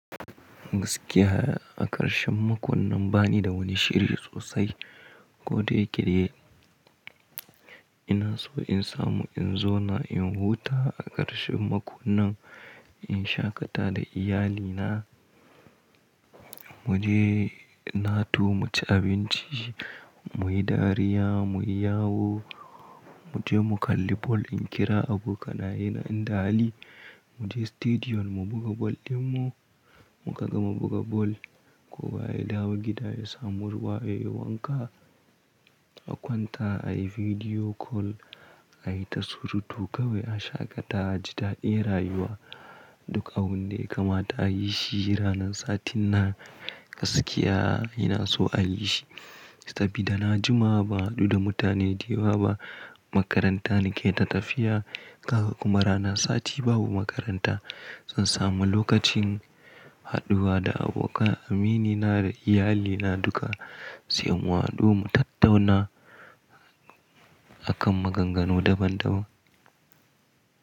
Gaskiya a ƙarshen makon nan bani da wani shiri sosai, kodayake ina so in samu in zo na in huta a ƙarshen makon nan, in shaƙata da iyalina. Mu je na tu mu ci abinci, mu yi dariya, mu yi yawo, mu je mu kalli bal. In kira abokanaye na in dawo, mu je Sitediyon mu buga bal ɗinmu, mu kaga mu buga bal. Ko ba a dawo gida ya samu ruwaye wanka, a kwanta, a yi bidiyo kol, a yi ta surutu kawai, a shaƙata, a ji daɗin rayuwa. Duk abun da e kamata a yi shi ranar satin na. Gaskiya ina so a yi shi saboda na jima ban haɗu da mutane da yawa ba. Makaranta nake ta tafiya, haka kuma ranar sati babu makaranta. Zan samu lokacin haɗuwa da abokan aminina da iyalina duka sai mu haɗu mu tattauna akan maganganu daban daban.